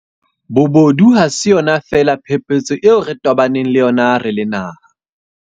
Bobodu ha se yona feela phephetso eo re tobaneng le yona re le naha.